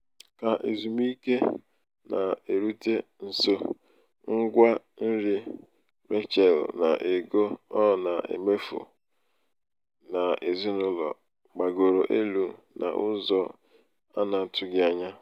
ka ezumiike na-erute nso um ngwa nri rachel na ego um ọ na-emefu ọ na-emefu n'ezinụlọ gbagoro elu n'ụzọ um na-atụghị anya ya.